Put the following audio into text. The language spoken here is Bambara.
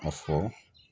A fɔ